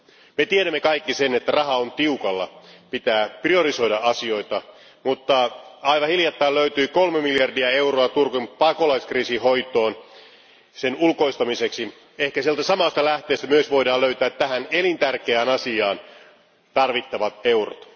Me tiedämme kaikki sen, että raha on tiukalla, pitää priorisoida asioita, mutta aivan hiljattain löytyi kolme miljardia euroa Turkin pakolaiskriisin hoitoon, sen ulkoistamiseksi. Ehkä siitä samasta lähteestä voidaan myös löytää tähän elintärkeään asiaan tarvittavat eurot.